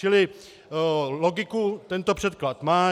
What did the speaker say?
Čili logiku tento předklad má.